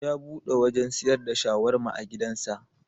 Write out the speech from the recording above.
Ya buɗe wajan siyar da shawarma a gidan sa